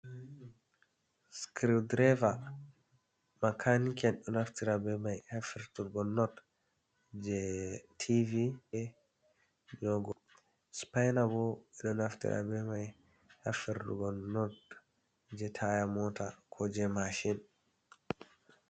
Criwdrever makanike'en ɗo naftira be mai ha ferturgo nord je tv a nogo spina bo ɓeɗo naftira be mai ha fertugo nord je taya mota ko je mashin.